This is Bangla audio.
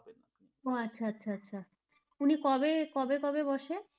ও আচ্ছা আচ্ছা উনি কবে, কবে কবে বসে?